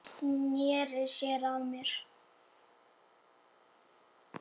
Hún sneri sér að mér.